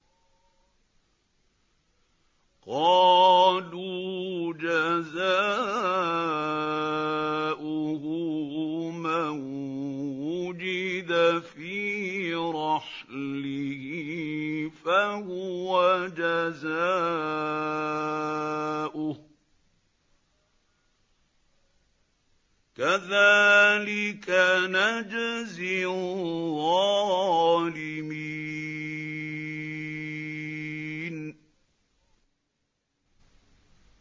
قَالُوا جَزَاؤُهُ مَن وُجِدَ فِي رَحْلِهِ فَهُوَ جَزَاؤُهُ ۚ كَذَٰلِكَ نَجْزِي الظَّالِمِينَ